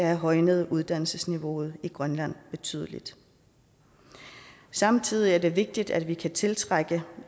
have højnet uddannelsesniveauet i grønland betydeligt samtidig er det vigtigt at vi kan tiltrække